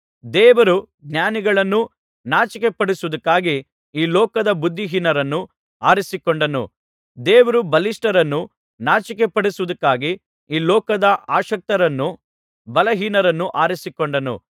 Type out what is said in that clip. ದೇವರು ಜ್ಞಾನಿಗಳನ್ನು ನಾಚಿಕೆಪಡಿಸುವುದಕ್ಕಾಗಿ ಈ ಲೋಕದ ಬುದ್ಧಿಹೀನರನ್ನು ಆರಿಸಿಕೊಂಡನು ದೇವರು ಬಲಿಷ್ಠರನ್ನು ನಾಚಿಕೆಪಡಿಸುವುದಕ್ಕಾಗಿ ಈ ಲೋಕದ ಅಶಕ್ತರನ್ನು ಬಲಹೀನರನ್ನು ಆರಿಸಿಕೊಂಡನು